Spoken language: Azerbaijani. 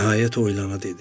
Nəhayət oylana dedi.